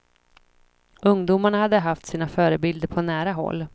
Ungdomarna hade haft sina förebilder på nära håll.